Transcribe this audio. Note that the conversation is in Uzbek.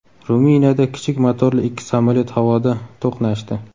Ruminiyada kichik motorli ikki samolyot havoda to‘qnashdi.